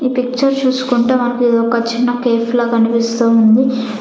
ఈ పిక్చర్ చూస్కుంటే మనకి ఇది ఒక చిన్న కేఫ్ లాగా అనిపిస్తూ ఉంది.